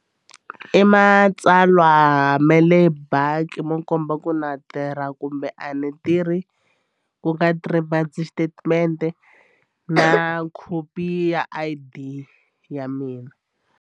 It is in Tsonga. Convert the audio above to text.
I matsalwa me le bank mo komba ku na tirha kumbe a ni tirhi ku nga three bank statement na khopi ya I_D ya mina.